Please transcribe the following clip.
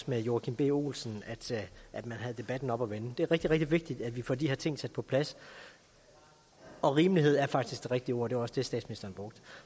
med joachim b olsen at man havde debatten oppe at vende det er rigtig rigtig vigtigt at vi får de her ting sat på plads og rimelighed er faktisk det rigtige ord det var også det statsministeren brugte